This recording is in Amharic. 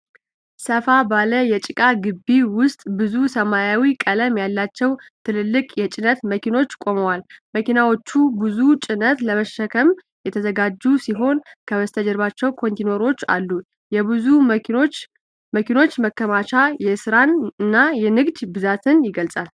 ሰፋ ባለ የጭቃ ግቢ ውስጥ ብዙ የሰማያዊ ቀለም ያላቸው ትልልቅ የጭነት መኪኖች ቆመዋል። መኪናዎቹ ብዙ ጭነት ለመሸከም የተዘጋጁ ሲሆኑ፣ ከበስተጀርባ ኮንቴይነሮች አሉ። የብዙ መኪኖች መከማቸት የስራን እና የንግድ ብዛትን ይገልፃል።